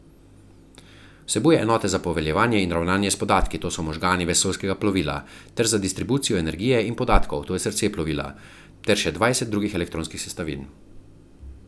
Vsebuje enote za poveljevanje in ravnanje s podatki, to so možgani vesoljskega plovila, ter za distribucijo energije in podatkov, to je srce plovila, ter še dvajset drugih elektronskih sestavin.